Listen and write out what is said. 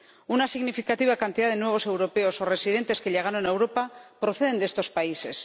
Una significativa cantidad de nuevos europeos o residentes que llegaron a Europa proceden de estos países.